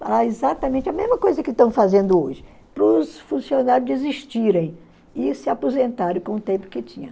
Falar exatamente a mesma coisa que estão fazendo hoje, para os funcionários desistirem e se aposentarem com o tempo que tinha.